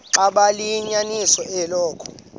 xaba liyinyaniso eloku